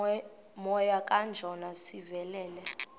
moya kajona sivelele